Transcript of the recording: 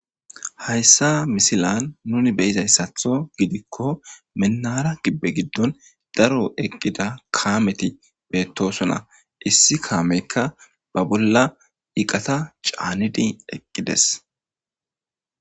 Hayssa misilan nuni beyizayssatho gidikko mennara gibbe giddon daro eqqida kaameti beettosona issi kaameykka ba bolla iqata caanidi eqqides.